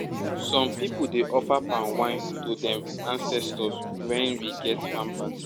some people dey offer palm wine to dem ancetors wen we get farm parties